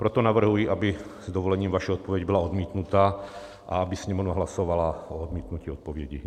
Proto navrhuji, aby s dovolením vaše odpověď byla odmítnuta a aby Sněmovna hlasovala o odmítnutí odpovědi.